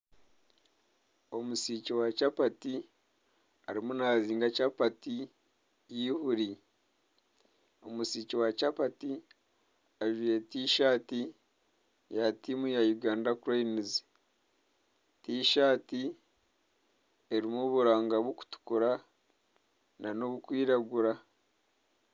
Omusiiki wa kyapati arimu naazinga kyapati y'eihuri. Omusiiki wa kyapati ajwaire tishaati ya tiimu ya Uganda cranes. Tishaati erimu oburanga bukutukura n'obukwiragura.